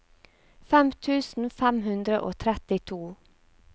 fem tusen fem hundre og trettito